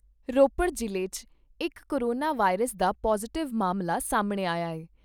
ਰੋਪੜ ਜਿਲ੍ਹੇ 'ਚ ਇਕ ਕੋਰੋਨਾ ਵਾਇਰਸ ਦਾ ਪੌਜ਼ਿਟਿਵ ਮਾਮਲਾ ਸਾਹਮਣੇ ਆਇਆ।